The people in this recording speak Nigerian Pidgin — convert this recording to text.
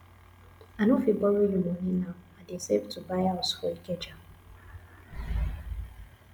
i no fit borrow you money now i dey save to buy house for ikeja